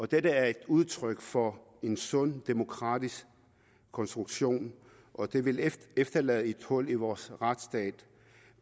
dette er et udtryk for en sund demokratisk konstruktion og det vil efterlade et hul i vores retsstat